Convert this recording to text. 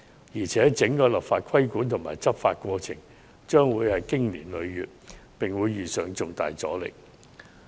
再者，整個立法規管和執法過程勢將經年累月，並會遇上重大阻力。